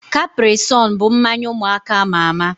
Caprisonne bụ mmanya ụmụaka ama ama